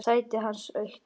Sætið hans autt.